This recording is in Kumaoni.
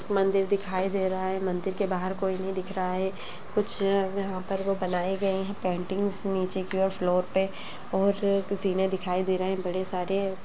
मंदिर दिखाई दे रहा है मंदिर के बाहर कोई नहीं दिख रहा है कुछ यहां पर वो बनाए गए हैं पेंटिंग्स नीचे की ओर फ्लोर पे और किसी ने दिखाई दे रहे हैं बड़े सारे।